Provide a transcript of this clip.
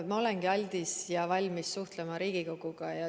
Ma olengi aldis ja valmis suhtlema Riigikoguga.